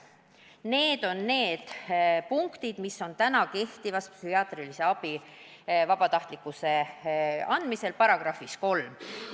Need on need punktid, mis on esitatud täna kehtivas psühhiaatrilise abi seaduses psühhiaatrilise abi vabatahtlikkuse kohta.